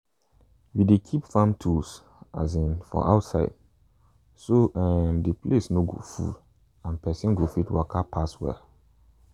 we dey keep farm tools um for outside so um the place no go full and person go fit waka pass well.